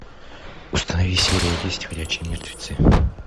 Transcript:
установи серия десять ходячие мертвецы